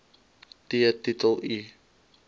t titel i